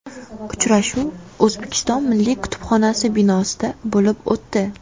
Uchrashuv O‘zbekiston milliy kutubxonasi binosida bo‘lib o‘tdi.